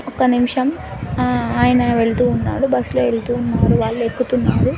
ఒక్క నిమిషం ఆ ఆయన వెళుతూ ఉన్నాడు. బస్సులో వెళుతూ ఉన్నాడు. వాళ్ళు ఎక్కుతున్నారు.